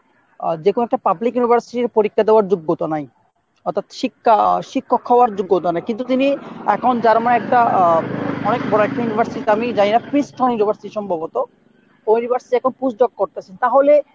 যেকোনো একটা public university এর পরীক্ষা দেয়ার যোগ্যতা নাই অর্থাৎ শিক্ষা শিক্ষক হওয়ার যোগ্যতা নাই কিন্তু তিনি এখন Germany এর একটা আহ অনেক বড়ো একটা university তে আমি জানি না Christian University সম্ভবত ওই university এখন post doc করতেছেন তাহলে